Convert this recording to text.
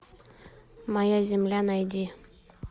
моя земля найди